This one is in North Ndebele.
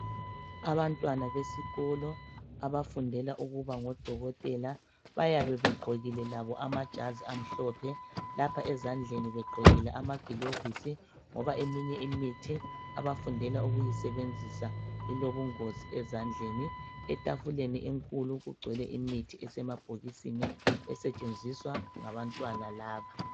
Abantwana besikolo abafundela ukuba ngodokotela bayabe begqokile labo amajazi amhlophe lapha ezandleni begqokile amagilovisi ngoba eminye imithi abafundela ukuyisebenzisa ilobungozi ezandleni, etafuleni enkulu kugcwele imithi esemabhokisini esetshenziswa ngabantwana laba.